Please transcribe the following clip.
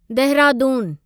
देहरादूनु